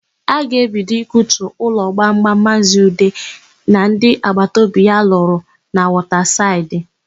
A ga-ebido ikutu ụlọ gbamgbam Maazị Ude na ndị agbata obi ya lụrụ na Wọtasaịdị.